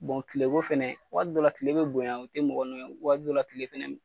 Bon tileko fana, wagati dɔ la tile bɛ bonya,o tɛ mɔgɔ nɔ ye , wagati dɔ la, tile fana bɛ